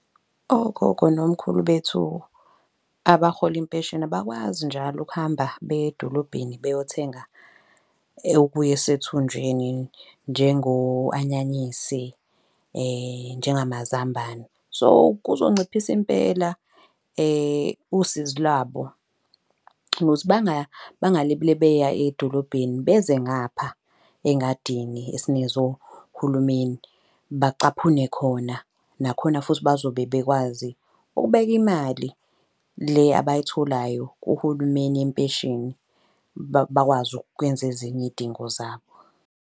Okhokho nomkhulu bethu abahola impesheni abakwazi njalo ukuhamba beye edolobheni beyothenga okuya sethunjini, njengo-anyanyisi njengamazambane. So, kuzonciphisa impela usizi lwabo, ukuthi bangalibele beya edolobheni beze ngapha engadingi esinikezwe uhulumeni. Bacaphune khona, nakhona futhi bazobe bekwazi ukubeka imali le abayitholayo kuhulumeni yempesheni, bakwazi ukwenza ezinye iy'dingo zabo.